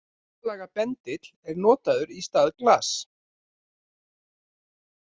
Hjartalaga bendill er notaður í stað glass.